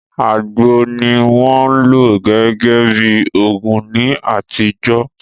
Àgbò ni wọ́n lò gẹ́gẹ́ bí òògùn ní àtijọ́